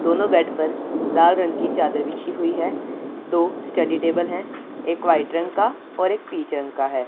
दोनों बेड पर लाल रंग की चादर बिछी हुई है दो स्टडी टेबल हैं एक व्हाइट रंग का और एक पीच रंग का है।